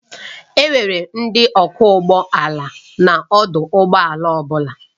Enwere ndị ọkwọ ụgbọ ala n'ọdụ ụgbọ ala ọ bụla